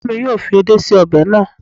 Ìyá mi yóò fi edé ṣe ọbẹ̀ náà